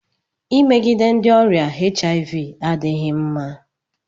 Imegide ndị ọrịa HIV adịghị mma.